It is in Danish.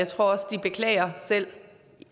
også de selv